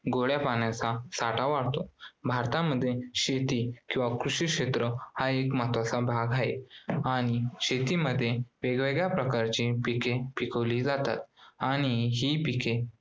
गोड्या पाण्याचा साठा वाढतो. भारतामध्ये शेती किंवा कृषी क्षेत्र हा एक महत्वाचा भाग आहे. आणि शेतीमध्ये वेगवेगळ्या प्रकारची पिके पिकवली जातात आणि हि पिके